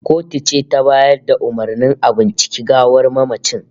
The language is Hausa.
The autopsy was ordered by the court